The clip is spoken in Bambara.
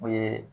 O ye